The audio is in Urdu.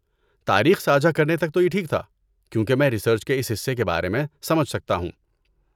تاریخ ساجھا کرنے تک تو یہ ٹھیک تھا، کیونکہ میں ریسرچ کے اس حصے کے بارے میں سمجھ سکتا ہوں۔